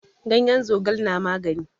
Ganyen zogal na magani.